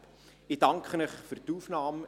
Ich danke Ihnen für die Aufnahme.